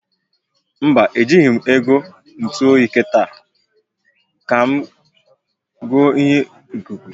Mba, e jighi m ego ntu oyi kita, ka m goo ihe ikuku